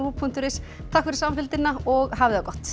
punktur is takk fyrir samfylgdina og hafið það gott